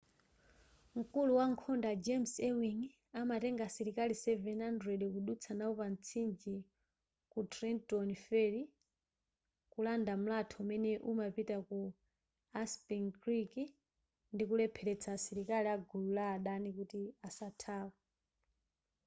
mkulu wankhondo a james ewing amatenga asilikali 700 kudutsa nawo pa mtsinje ku trenton ferry kulanda mlatho umene umapita ku assunpink creek ndikulepheretsa asilikali agulu la adani kuti asathawe